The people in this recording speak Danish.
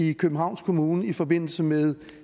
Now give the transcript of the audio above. i københavns kommune i forbindelse med